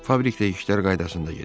Fabrikdə işlər qaydasında gedir.